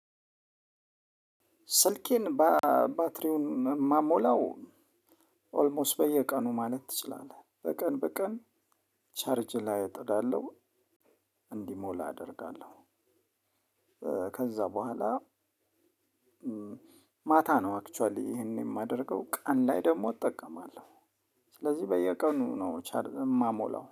ስልኬን ባትሪውን የምሞላው ኦልሞስት በየቀኑ ማለት ትችላለህ በቀን በቀን ቻርጅ ላይ እጥዳለሁ እንዲሞላ አደርጋለሁ። ከዛ በኋላ ማታ ነው አክችዋሊ ይሄንን የማደርገው ቀን ላይ ደግሞ እጠቀማለሁ። ስለዚህ በየቀኑ ነው ቻርጅ የምሞላው